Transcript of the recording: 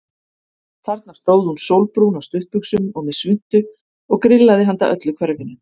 Þarna stóð hún sólbrún á stuttbuxum og með svuntu og grillaði handa öllu hverfinu.